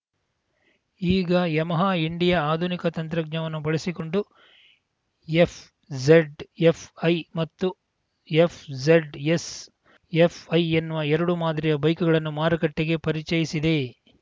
ಈಗ Yamaha India ಆಧುನಿಕ ತಂತ್ರಜ್ಞಾನವನ್ನು ಬಳಸಿಕೊಂಡು ಎಫ್‌ಝಡ್‌ಎಫ್‌ಐ ಮತ್ತು ಎಫ್‌ಝಡ್‌ಎಸ್‌ಎಫ್‌ಐ ಎನ್ನುವ ಎರಡು ಮಾದರಿಯ ಬೈಕುಗಳನ್ನು ಮಾರುಕಟ್ಟೆಗೆ ಪರಿಚಯಿಸಿದೆ